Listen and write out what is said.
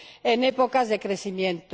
en épocas de crecimiento.